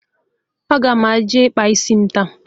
Ana m eje ịkpa isi m taa